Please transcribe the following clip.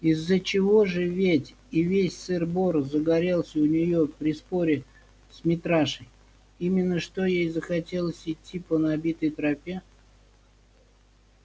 из-за чего же ведь и весь сыр-бор загорелся у неё при споре с митрашей именно что ей захотелось идти по набитой тропе